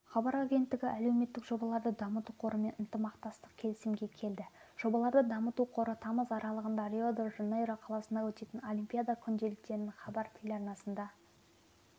хабар агенттігі әлеуметтік жобаларды дамыту қорымен ынтымақтастық келісімге келді жобаларды дамыту қоры тамыз аралығында рио-де-жанейро қаласында өтетін олимпиада күнделіктерін хабар телеарнасында